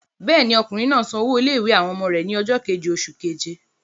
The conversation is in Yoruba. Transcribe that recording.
Bẹ́ẹ̀ ni, ọkùnrin náà san owó ilé-ìwé àwọn ọmọ rẹ̀ ní ọjọ́ kejì oṣù keje.